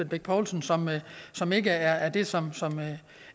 bech poulsen som som ikke er er det som